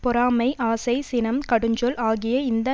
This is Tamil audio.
பொறாமை ஆசை சினம் கடுஞ்சொல் ஆகிய இந்த